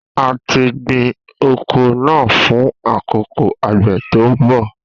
A ti gbin oko naa fun akoko agbe to nbọ